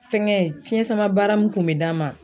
Fɛnkɛ fiɲɛ sama baara mun kun mɛ d'a ma